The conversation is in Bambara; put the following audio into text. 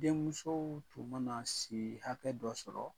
Denmusow tun ma na si hakɛ dɔ sɔrɔ